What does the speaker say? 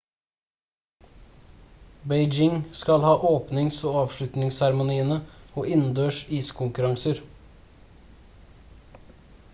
beijing skal ha åpnings- og avslutningsseremoniene og innendørs iskonkurranser